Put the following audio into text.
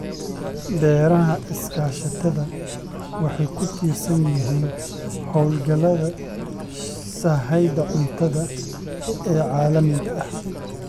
Beeraha iskaashatada waxay ku tiirsan yihiin hawlgallada sahayda cuntada ee caalamiga ah.